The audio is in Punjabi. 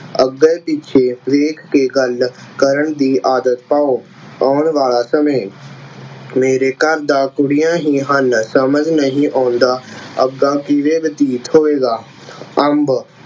ਅੱਗੇ ਪਿੱਛੇ ਵੇਖ ਕੇ ਗੱਲ ਕਰਨ ਦੀ ਆਦਤ ਪਾਓ। ਆਉਣ ਵਾਲਾ ਸਮੇਂ, ਮੇਰੇ ਘਰ ਤਾਂ ਕੁੜੀਆਂ ਹੀ ਹਨ ਸਮਝ ਨਹੀਂ ਆਉਂਦਾ ਅੱਗਾ ਕਿਵੇਂ ਬਤੀਤ ਹੋਵੇਗਾ। ਅੰਬ